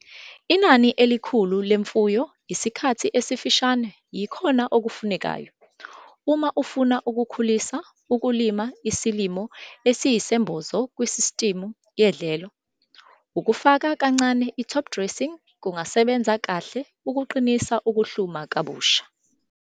Inani elikhulu lemfuyo isikhathi esifushane yikhona okufunekayo. Uma ufuna ukukhulisa ukulima isilimo esiyisembozo kusistimu yedlelo, ukufaka kancane i-topdressing kungasebenza kahle ukuqinisa ukuhluma kabusha.